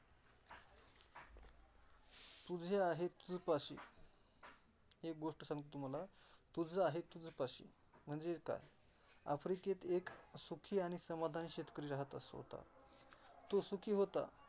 तुझी आहे तुमच्या पासून एक गोष्ट सांगतो, तुम्हाला तुजं आहे तुमच्या पासून म्हणजे काय? अफ्रिकेत एक सुखी आणि समाधानी शेतकरी राहत अस होता तो सुखी होता.